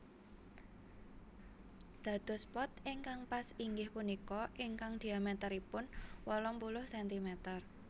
Dados pot ingkang pas inggih punika ingkang dhiamèteripun wolung puluh sentimeter